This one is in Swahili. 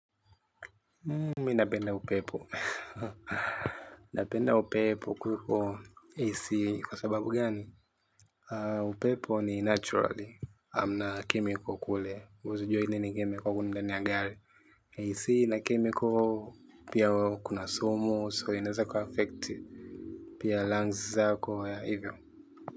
Mimi napenda upepo, napenda upepo kuliko AC kwa sababu gani? Upepo ni naturally, hamna chemical kule, huwezi jua nini kimewekwa ndani ya gari. AC ina chemical pia kuna sumu so inaweza kuaffect pia lungs zako yeah hivyo.